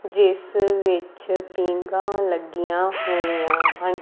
ਜਿਸ ਵਿੱਚ ਪੀਗਾ ਲੱਗੀਆਂ ਹੋਈਆਂ ਹਨ।